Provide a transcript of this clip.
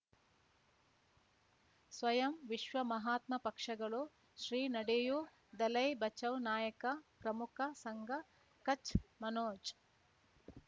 ಸ್ವಯಂ ವಿಶ್ವ ಮಹಾತ್ಮ ಪಕ್ಷಗಳು ಶ್ರೀ ನಡೆಯೂ ದಲೈ ಬಚೌ ನಾಯಕ ಪ್ರಮುಖ ಸಂಘ ಕಚ್ ಮನೋಜ್